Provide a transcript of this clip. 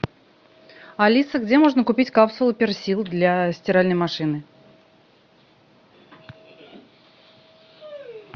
алиса где можно купить капсулы персил для стиральной машины